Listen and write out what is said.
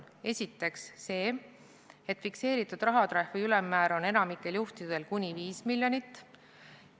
Esiteks see, et fikseeritud rahatrahvi ülemmäär on enamikul juhtudel kuni 5 miljonit.